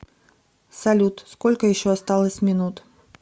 салют сколько еще осталось минут